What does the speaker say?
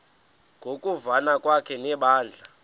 ngokuvana kwakhe nebandla